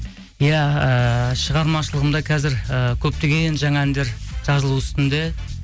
иә ыыы шығармашылығымда қазір ііі көптеген жаңа әндер жазылу үстінде